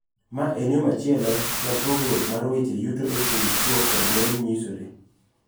Ma en yo machielo ma pogruok mar weche yuto e kind chwo kod mon nyisore.